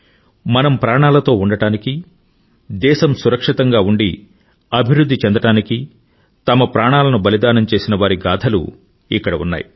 మనం ప్రాణాలతో ఉండడానికి దేశం సురక్షితంగా ఉండి అభివృధ్ధి చెందడానికి తమ ప్రాణాలను బలిదానం చేసిన వారి గాధలు ఇక్కడ ఉన్నాయి